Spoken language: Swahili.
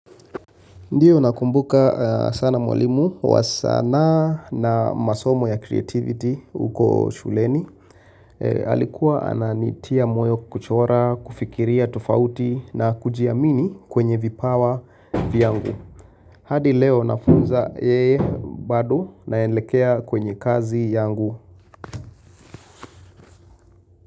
Ndio nakumbuka sana mwalimu wa sanaa na masomo ya creativity uko shuleni. Alikuwa ananitia moyo kuchora, kufikiria tofauti na kujiamini kwenye vipawa vyangu. Hadi leo nafunza yeye bado naelekea kwenye kazi yangu.